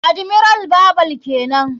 Admiral babar kenan.